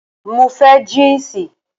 Mo fẹ́ jínsì